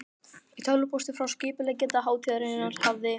Í tölvupósti frá skipuleggjanda hátíðarinnar hafði